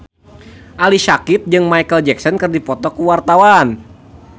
Ali Syakieb jeung Micheal Jackson keur dipoto ku wartawan